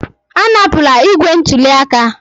Anapụla igbe ntụli aka!